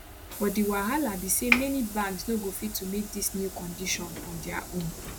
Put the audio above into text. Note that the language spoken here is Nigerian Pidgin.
but di wahala be say many banks no go fit to meet dis new condition on dia own